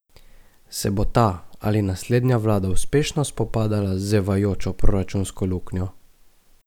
Se bo ta ali naslednja vlada uspešno spopadala z zevajočo proračunsko luknjo?